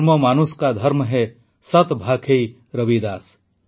କର୍ମ ମାନୁଷ କା ଧର୍ମ ହୈ ସତ୍ ଭାଖୈ ରବିଦାସ